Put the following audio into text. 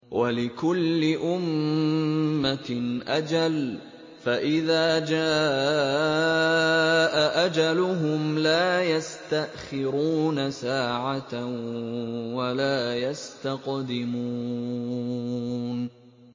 وَلِكُلِّ أُمَّةٍ أَجَلٌ ۖ فَإِذَا جَاءَ أَجَلُهُمْ لَا يَسْتَأْخِرُونَ سَاعَةً ۖ وَلَا يَسْتَقْدِمُونَ